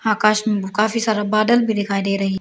आकाश में काफी सारा बादल भी दिखाई दे रहा है।